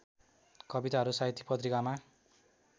कविताहरू साहित्यिक पत्रिकामा